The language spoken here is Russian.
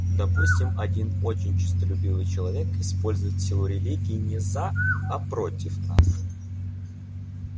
допустим один очень честолюбивый человек использует силу религии не за а против нас